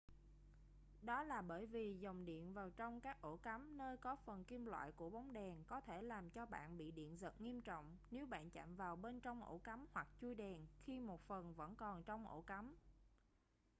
đó là bởi vì dòng diện vào trong các ổ cắm nơi có phần kim loại của bóng đèn có thể làm cho bạn bị điện giật nghiêm trọng nếu bạn chạm vào bên trong ổ cắm hoặc chuôi đèn khi một phần vẫn còn trong ổ cắm